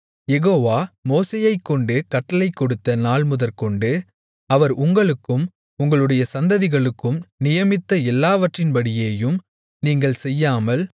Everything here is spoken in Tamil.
யெகோவா மோசேயைக்கொண்டு கட்டளைகொடுத்த நாள்முதற்கொண்டு அவர் உங்களுக்கும் உங்களுடைய சந்ததிகளுக்கும் நியமித்த எல்லாவற்றின்படியேயும் நீங்கள் செய்யாமல்